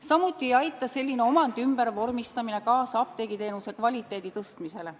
Samuti ei aita selline omandi ümbervormistamine kaasa apteegiteenuse kvaliteedi tõstmisele.